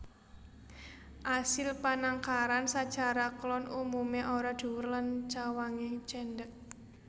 Asil panangkaran sacara klon umumé ora dhuwur lan cawangé cendhèk